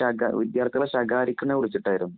ശക വിദ്യാര്‍ത്ഥികളെ ശകാരിക്കുന്നതിനെ കുരിചിട്ടായിരുന്നു.